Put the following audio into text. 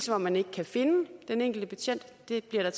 hvor man ikke kan finde den enkelte betjent det bliver der